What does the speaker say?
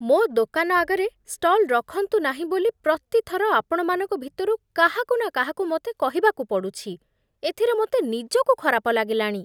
ମୋ ଦୋକାନ ଆଗରେ ଷ୍ଟଲ୍ ରଖନ୍ତୁନାହିଁ ବୋଲି ପ୍ରତି ଥର ଆପଣମାନଙ୍କ ଭିତରୁ କାହାକୁ ନା କାହାକୁ ମୋତେ କହିବାକୁ ପଡୁଛି, ଏଥିରେ ମୋତେ ନିଜକୁ ଖରାପ ଲାଗିଲାଣି।